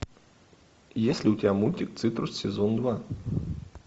есть ли у тебя мультик цитрус сезон два